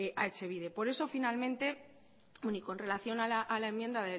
a etxebide por eso finalmente y con relación a la enmienda